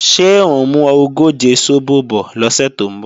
Ṣé ò ń mú ogóje sóbò bọ̀ lọ́sẹ̀ tó ń bọ̀?